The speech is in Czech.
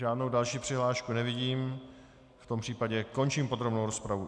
Žádnou další přihlášku nevidím, v tom případě končím podrobnou rozpravu.